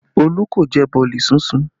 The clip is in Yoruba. Olú kò jẹ boolì sísun